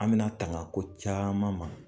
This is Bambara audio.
An bɛna tanga ko caman ma